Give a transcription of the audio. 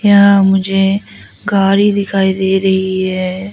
यहां मुझे गाड़ी दिखाई दे रही है।